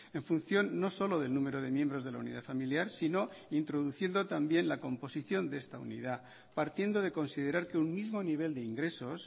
en función no solo del número de miembros de la unidad familiar sino introduciendo también la composición de esta unidad partiendo de considerar que un mismo nivel de ingresos